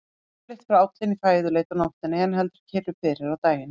Yfirleitt fer állinn í fæðuleit á nóttunni en heldur kyrru fyrir á daginn.